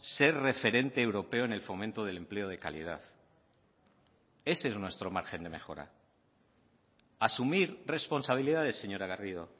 ser referente europeo en el fomento del empleo de calidad ese es nuestro margen de mejora asumir responsabilidades señora garrido